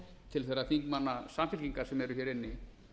til þeirra þingmanna samfylkingar sem eru hér inni